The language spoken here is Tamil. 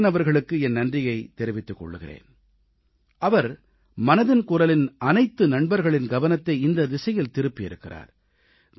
நான் ஆயன் அவர்களுக்கு என் நன்றிகளைத் தெரிவித்துக் கொள்கிறேன் அவர் மனதின் குரலின் அனைத்து நண்பர்களின் கவனத்தை இந்தத் திசையில் திருப்பியிருக்கிறார்